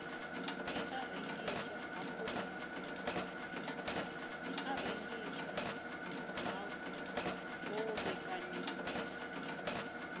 i a rengiswa ha kovhekanyiwa